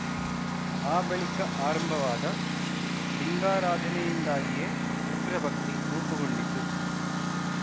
ಆ ಬಳಿಕ ಆರಂಭವಾದ ಲಿಂಗಾರಾಧನೆಯಿಂದಾಗಿಯೇ ಉಗ್ರಭಕ್ತಿ ರೂಪುಗೊಂಡಿತು